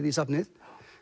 í safnið